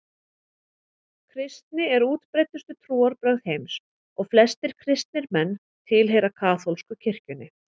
Kristni er útbreiddustu trúarbrögð heims og flestir kristnir menn tilheyra kaþólsku kirkjunni.